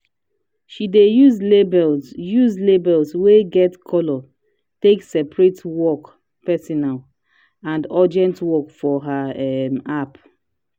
she dey use labels use labels wey get colors take separate work personal and urgent work for her um app.